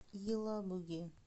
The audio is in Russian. елабуге